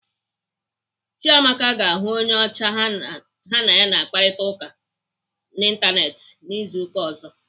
Chiamaka ga-ahụ onye ocha ha na ya na-akparịta ụka n'Ịntanetị izu ụka ọzọ.